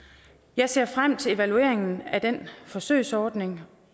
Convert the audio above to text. jeg ser frem til evalueringen af den forsøgsordning